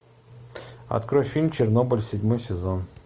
открой фильм чернобыль седьмой сезон